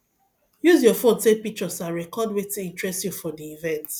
use your phone take pictures and record wetin interest you for di event